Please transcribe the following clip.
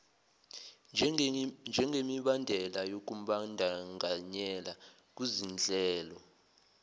njengemibandela yokumbandakanyeka kuzinhlelo